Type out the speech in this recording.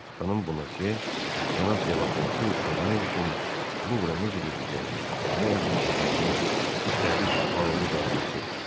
Xanım Bonase cənab Delaportu görmək üçün Luvra necə gedəcəyini, kimə yaxınlaşacağını, üstəlik, parolu da ona söylədi.